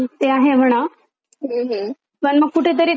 पण मग कुठेतरी तेव्हा दिवस जायचा एन्टरटेन होऊन जायचं. होन?